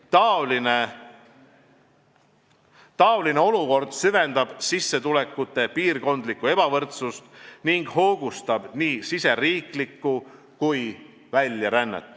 Taoline olukord süvendab sissetulekute piirkondlikku ebavõrdsust ning hoogustab nii riigisisest rännet kui väljarännet.